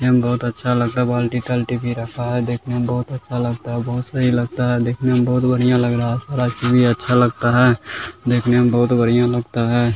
ऐ बहुत अच्छा लगता है बाल्टी-तल्टी भी रखा है देखने में बहुत अच्छा लगता है बहुत सही लगता है देखने में बहुत बढ़िया लग रहा है सारा चीज ये अच्छा लगता है देखने में बहुत बढ़िया लगता है।